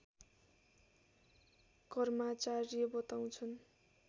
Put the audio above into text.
कर्माचार्य बताउँछन्